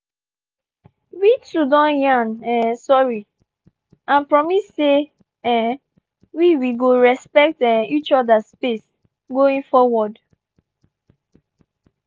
we two don yan um sorry and promise say um we we go respect um each other space going forward.